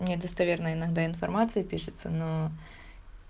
недостоверная иногда информации пишется но